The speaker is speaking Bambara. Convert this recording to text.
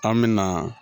An me na